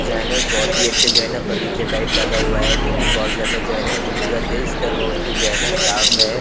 जो है न एक बहोत ही अच्छा जो है न बगीचा टाइप लगा हुआ है जो कि बहोत ज्यादा जो है न खूबसूरत है। इसका रोड भी जो है न साफ है।